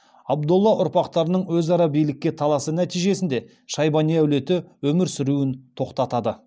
абдолла ұрпақтарының өзара билікке таласы нәтижесінде шайбани әулеті өмір сүруін тоқтатады